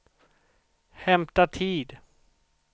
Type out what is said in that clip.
hämta tid